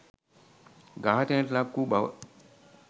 ඝාතනයට ලක් වූ බව